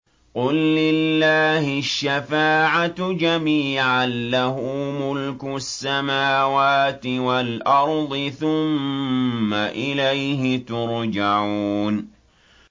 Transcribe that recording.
قُل لِّلَّهِ الشَّفَاعَةُ جَمِيعًا ۖ لَّهُ مُلْكُ السَّمَاوَاتِ وَالْأَرْضِ ۖ ثُمَّ إِلَيْهِ تُرْجَعُونَ